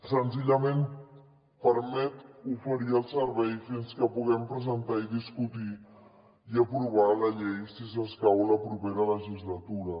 senzillament permet oferir el servei fins que puguem presentar discutir i aprovar la llei si s’escau a la propera legislatura